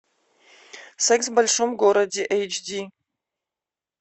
секс в большом городе эйч ди